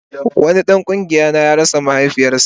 Wani dan kungiya na ya rasa mahaifinsa